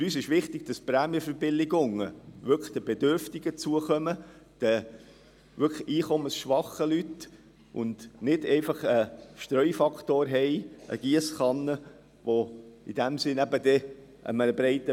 Für uns ist wichtig, dass die Prämienverbilligungen wirklich den Bedürftigen zukommen, den einkommensschwachen Leuten, und es nicht einfach einen Streufaktor gibt, der wie ein Giesskannenprinzip wirkt.